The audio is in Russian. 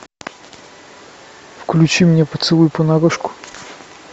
включи мне поцелуй понарошку